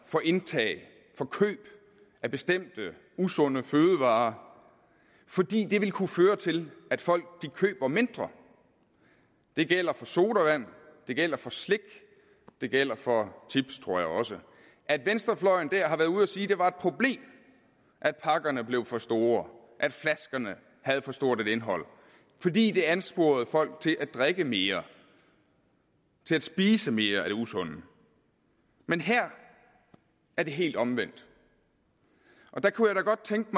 for indtag og for køb af bestemte usunde fødevarer fordi det vil kunne føre til at folk køber mindre det gælder for sodavand det gælder for slik det gælder for chips tror jeg også at venstrefløjen har været ude at sige at det var et problem at pakkerne blev for store at flaskerne havde for stort et indhold fordi det ansporede folk til at drikke mere til at spise mere af det usunde men her er det helt omvendt der kunne jeg godt tænke